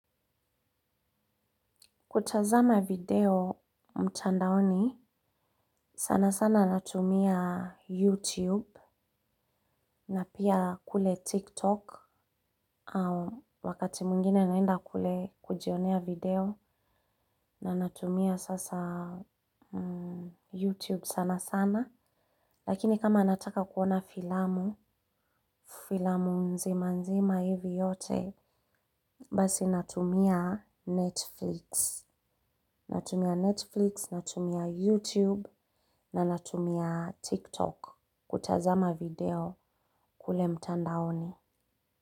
Kutazama video mtandaoni, sana sana natumia YouTube na pia kule TikTok au wakati mwingine naenda kule kujionea video na natumia sasa YouTube sana sana. Lakini kama nataka kuona filamu, filamu nzima nzima hivi yote, basi natumia Netflix. Natumia Netflix, natumia YouTube na natumia TikTok kutazama video kule mtandaoni.